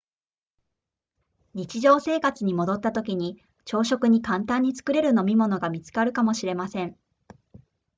日常生活に戻ったときに朝食に簡単に作れる飲み物が見つかるかもしれません